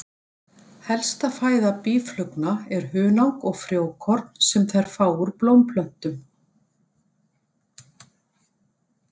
Helsta fæða býflugna er hunang og frjókorn sem þær fá úr blómplöntum.